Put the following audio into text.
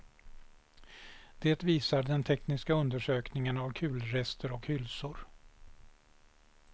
Det visar den tekniska undersökningen av kulrester och hylsor.